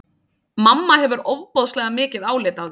Mamma hefur ofboðslega mikið álit á þér!